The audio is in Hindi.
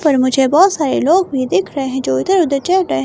पर मुझे बहुत सारे लोग भी दिख रहे हैं जो इधर-उधर जाए--